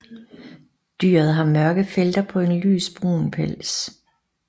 Dyret har mørke felter på en lys brun pels